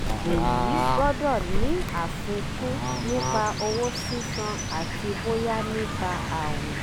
èyí gbọ́dọ̀ ní àfikún nípa owó sísan àti bóyá nípa àwìn.